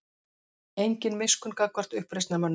Engin miskunn gagnvart uppreisnarmönnum